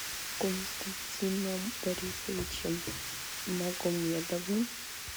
константином борисовичем магомедовым